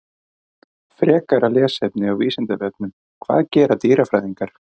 Frekara lesefni á Vísindavefnum: Hvað gera dýrafræðingar?